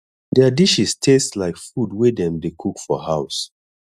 their dishes taste like food wey dem dey cook for house